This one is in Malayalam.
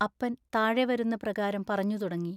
അപ്പൻ താഴെ വരുന്ന പ്രകാരം പറഞ്ഞുതുടങ്ങി.